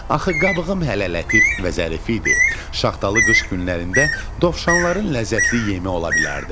Axı qabığım hələ lətif və zərifi idi, şaxtalı qış günlərində dovşanların ləzzətli yemi ola bilərdim.